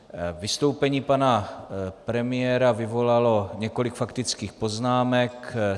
Vystoupení pana premiéra vyvolalo několik faktických poznámek.